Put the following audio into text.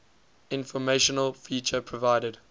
informational feature provided